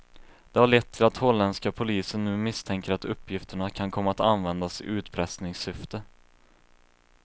Det har lett till att holländska polisen nu misstänker att uppgifterna kan komma att användas i utpressningssyfte.